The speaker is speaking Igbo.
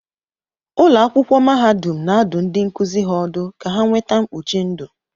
Ụlọ akwụkwọ mahadum na-adụ ndị nkuzi ha ọdụ ka ha nweta mkpuchi ndụ